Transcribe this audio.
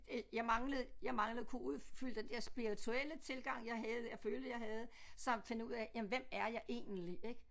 Øh jeg manglede jeg manglede kunne udfylde den der spirituelle tilgang jeg havde jeg følte jeg havde samt finde ud af jamen hvem er jeg egentlig ik